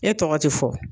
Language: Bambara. E tɔgɔ ti fɔ